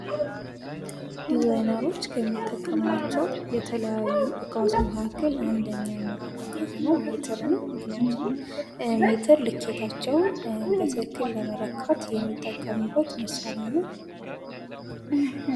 ዲዛይነሮች ከሚጠቀማቸው የተለያዩ አይነት እቃዎች መካከል አንደኛው እና ዋነኛው ሜትር ነው። ምክንያቱም ሜትር ልኬታቸውን በትክክል ለመለካት የሚጠቀሙበት መሳሪያ ነው።